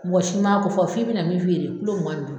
Mɔgɔ si m'a ko fɔ, f'i bɛna min feere kilo mugan ni duuru